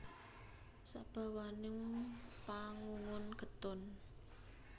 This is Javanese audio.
Sabawaning pangungun getun